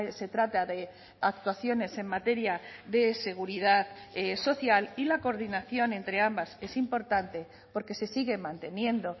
se trata de actuaciones en materia de seguridad social y la coordinación entre ambas es importante porque se sigue manteniendo